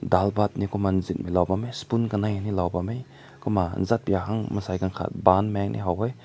dal baat ne kum na sui na bam meh spoon kanai ne lao bam meh zetbaik beng mansai gagat pan kum na haw weh.